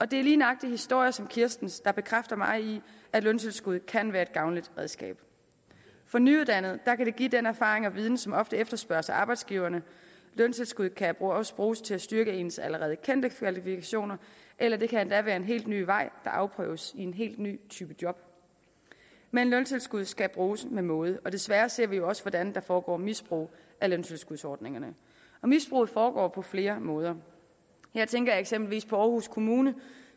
det er lige nøjagtig historier som kirstens der bekræfter mig i at løntilskud kan være et gavnligt redskab for nyuddannede kan det give den erfaring og viden som ofte efterspørges af arbejdsgiverne løntilskud kan også bruges til at styrke ens allerede kendte kvalifikationer eller det kan endda være en helt ny vej der afprøves i en helt ny type job men løntilskud skal bruges med måde og desværre ser vi jo også hvordan der foregår misbrug af løntilskudsordningerne misbruget foregå på flere måder her tænker jeg eksempelvis på aarhus kommune